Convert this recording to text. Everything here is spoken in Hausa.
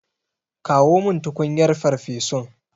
Kawo min tukunyar farfesun.